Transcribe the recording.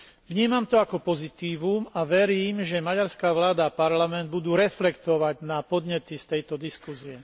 Vnímam to ako pozitívum a verím, že maďarská vláda a parlament budú reflektovať na podnety z tejto diskusie.